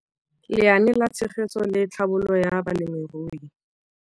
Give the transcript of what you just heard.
Lenaane la Tshegetso le Tlhabololo ya Balemirui.